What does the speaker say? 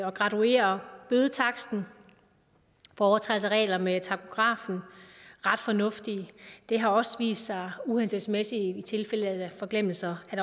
og graduerer bødetaksten for overtrædelse af regler med takografen ret fornuftigt det har også vist sig uhensigtsmæssigt i tilfælde af forglemmelser